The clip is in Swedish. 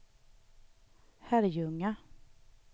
Herrljunga